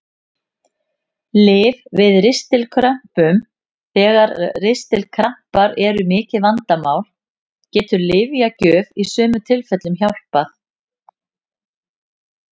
Lyf við ristilkrömpum Þegar ristilkrampar eru mikið vandamál getur lyfjagjöf í sumum tilfellum hjálpað.